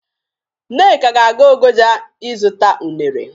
Nneka ga-aga Ogoja ịzụta unere.